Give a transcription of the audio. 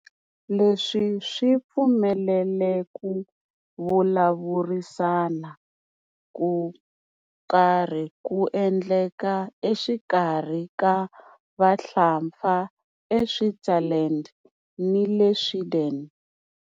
Leswi swi pfumelele ku vulavurisana ko karhi ku endleka exikarhi ka Vahlapfa eSwitzerland ni le Sweden.